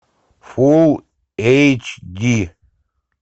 фулл эйч ди